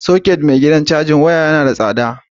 Soket mai gidan cajin waya yana da tsada.